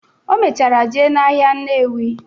O mechara jee n'ahịa Nnewi.